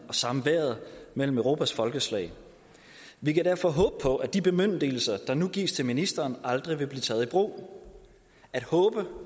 og samværet mellem europas folkeslag vi kan derfor håbe på at de bemyndigelser der nu gives til ministeren aldrig vil blive taget i brug at håbe